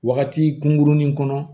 Wagati kunkurunin kɔnɔ